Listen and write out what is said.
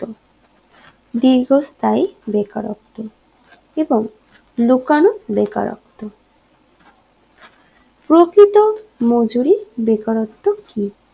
দীর্ঘস্থায়ী বেকারত্ব এবং লুকানো বেকারত্ব প্রকৃত মজুরি বেকারত্ব কি